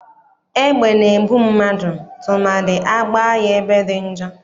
Egbe na-egbu mmadụ tụmadị agbaa ya ebe dị njọ.